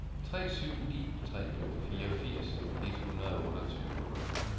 tre syv ni tre fireogfirs et hundrede og otteogtyve